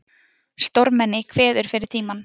Stórmenni kveður fyrir tímann